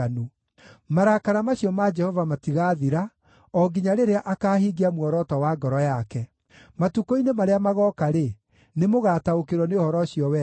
Marakara macio ma Jehova matigaathira, o nginya rĩrĩa akaahingia muoroto wa ngoro yake. Matukũ-inĩ marĩa magooka-rĩ, nĩmũgataũkĩrwo nĩ ũhoro ũcio wega.